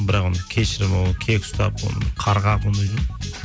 бірақ оны кешірмей кек ұстап оны қарғап